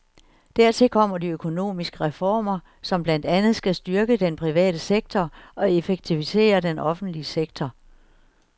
Dertil kommer de økonomiske reformer, som blandt andet skal styrke den private sektor og effektivisere den offentlige sektor.